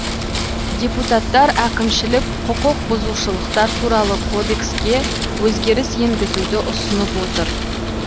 депутаттар әкімшілік құқықбұзушылықтар туралы кодекске өзгеріс енгізуді ұсынып отыр